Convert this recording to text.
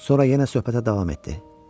Sonra yenə söhbətə davam etdi.